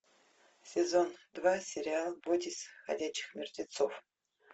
сезон два сериал бойтесь ходячих мертвецов